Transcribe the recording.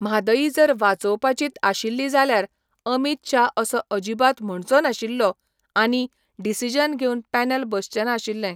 म्हादयी जर वाचोवपाचीत आशिल्ली जाल्यार अमीत शा असो अजिबात म्हणचो नाशिल्लो आनी डिसिजन घेवन पॅनल बसचें नाशिल्ले.